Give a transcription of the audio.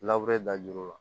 da juru la